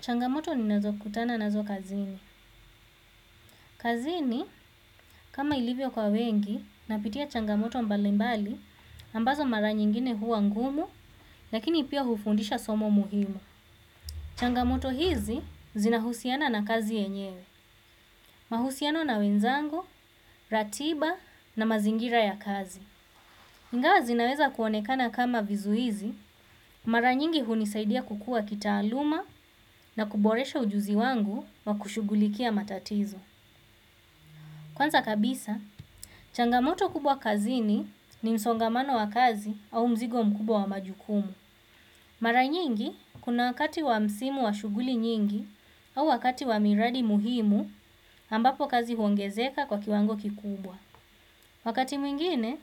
Changamoto ninazo kutana nazo kazini. Kazini, kama ilivyo kwa wengi, napitia changamoto mbalimbali, ambazo mara nyingine huwa ngumu, lakini pia hufundisha somo muhimu. Changamoto hizi zinahusiana na kazi yenyewe. Mahusiano na wenzangu, ratiba na mazingira ya kazi. Ingawa zinaweza kuonekana kama vizuizi, mara nyingi hunisaidia kukua kitaaluma na kuboresha ujuzi wangu wa kushugulikia matatizo. Kwanza kabisa, changamoto kubwa kazini ni msongamano wa kazi au mzigo mkubwa wa majukumu. Mara nyingi, kuna wakati wa msimu wa shughuli nyingi au wakati wa miradi muhimu ambapo kazi huongezeka kwa kiwango kikubwa. Wakati mwingine,